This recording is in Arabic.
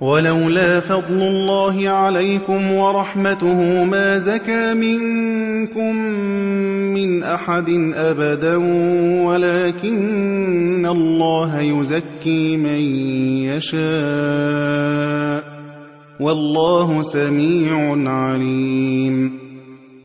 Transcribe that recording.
وَلَوْلَا فَضْلُ اللَّهِ عَلَيْكُمْ وَرَحْمَتُهُ مَا زَكَىٰ مِنكُم مِّنْ أَحَدٍ أَبَدًا وَلَٰكِنَّ اللَّهَ يُزَكِّي مَن يَشَاءُ ۗ وَاللَّهُ سَمِيعٌ عَلِيمٌ